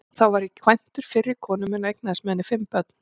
Þá var ég kvæntur fyrri konu minni og eignaðist með henni fimm börn.